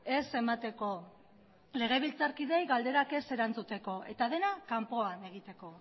ez emateko legebiltzarkideei galderak ez erantzuteko eta dena kanpoan egiteko